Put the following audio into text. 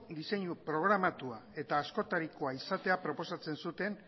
diseinu programatua eta askotarikoa izatea proposatzen zuten